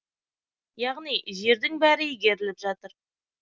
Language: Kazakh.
яғни жердің бәрі игеріліп жатыр